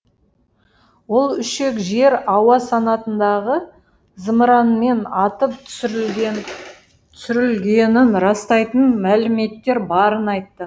ол үшек жер ауа санатындағы зымыранмен атып түсірілгенін растайтын мәліметтер барын айтты